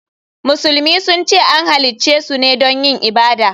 Musulmi sun ce an halicce su ne don yin ibada.